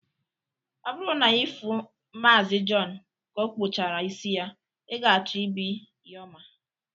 Ọ bụrụ na ị fụụ Maazi Jọn ka ọkpụchara isi yaa, ị ga-achọ ibi ya ọma.